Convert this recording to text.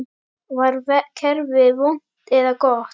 Var kerfið vont eða gott?